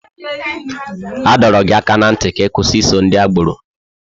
A dọrọ gị aka ná ntị ka ị kwụsị iso ndị agbọrọ!